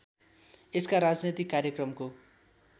यसका राजनैतिक कार्यक्रमको